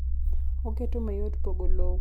oketo mayot pogo lowo kuom oganda kuom ratiro